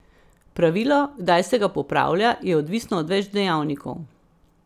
Pravilo, kdaj se ga popravlja, je odvisno od več dejavnikov.